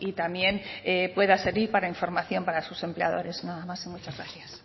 también pueda servir para información para sus empleadores nada más y muchas gracias